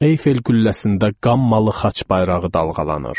Eyfel qülləsində qan malı xaç bayrağı dalğalanır.